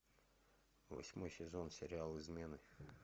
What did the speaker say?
восьмой сезон сериал измены